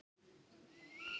Ég meina, hvað er kynlíf?